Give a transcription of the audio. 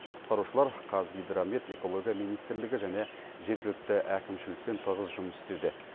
құтқарушылар қазгидромет экология министрлігі және жергілікті әкімшілікпен тығыз жұмыс істеуде